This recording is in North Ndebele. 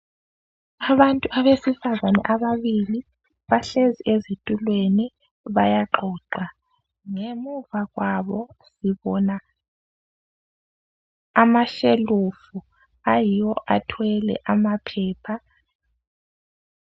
Abantu abesifazane ababili bahlezi ezitulweni bayaxoxa, ngemuva kwabo ngibona amashelufu ayiwo athwele amaphepha.